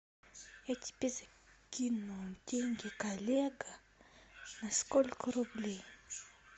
я тебе закину деньги коллега на сколько рублей